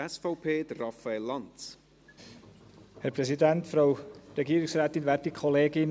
Die SP-JUSO-PSA wird den 70 Prozent klar zustimmen.